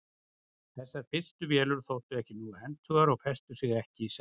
þessar fyrstu vélar þóttu ekki nógu hentugar og festu sig ekki í sessi